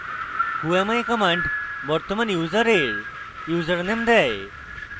whoami command বর্তমান ইউসারের username দেয়